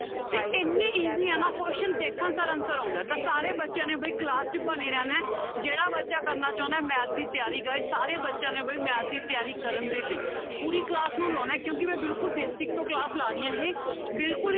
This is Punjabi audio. ਇੰਨੇ easy ਆ ਨਾ question ਦੇਖਣ ਸਾਰ answer ਆਉਂਦਾ ਹੈ ਤਾਂ ਸਾਰੇ ਬੱਚਿਆਂ ਨੇ ਵੀ class 'ਚ ਬਣੇ ਰਹਿਣਾ ਹੈ ਜਿਹੜਾ ਬੱਚਾ ਕਰਨਾ ਚਾਹੁੰਦਾ ਹੈ math ਦੀ ਤਿਆਰੀ guys ਸਾਰੇ ਬੱਚਿਆਂ ਨੇ ਵੀ math ਦੀ ਤਿਆਰੀ ਕਰਨ ਦੇ ਲਈ ਪੂਰੀ class ਨੂੰ ਲਾਉਣਾ ਹੈ ਕਿਉਂਕਿ ਮੈਂ ਬਿਲਕੁਲ basic ਤੋਂ class ਲਾ ਰਹੀ ਹਾਂ ਇਹ ਬਿਲਕੁਲ